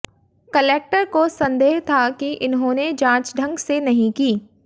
collector को संदेह था कि इन्होंने जांच ढंग से नहीं की